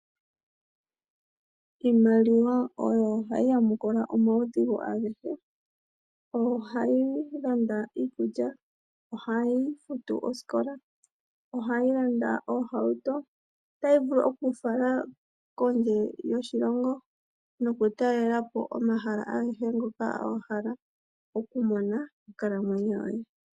Iimaliwa oyo hayi yamukula omaudhigu agehe. Oyo hayi landa iikulya , ohayi futu osikola , ohayi landa oohauto otayi vulu wo oku ku fala kondje yoshilongo noku talelapo omahala agehe ngoka wahala okumona monkalamwenyo yo ye.